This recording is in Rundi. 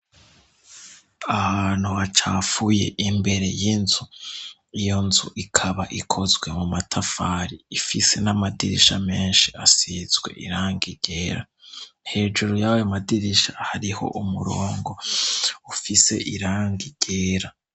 Ahantu hacapfuye imbere y'inzu iyo nzu ikaba ikozwe mu matafari ifise n'amadirisha menshi asizwe iranga igera hejuru yawe madirisha hariho umurongo ufise iranga gera.